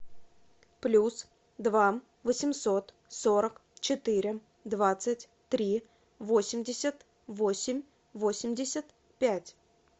плюс два восемьсот сорок четыре двадцать три восемьдесят восемь восемьдесят пять